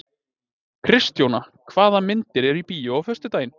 Kristjóna, hvaða myndir eru í bíó á föstudaginn?